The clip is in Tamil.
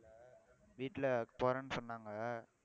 வீட்டுல போறேன்னு சொன்னாங்க